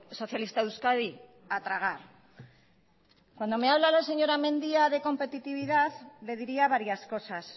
socialista de euskadi a tragar cuando me habla la señora mendia de competitividad le diría varias cosas